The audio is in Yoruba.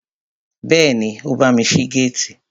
Bẹ́ẹ̀ni, ó bámi ṣí géètì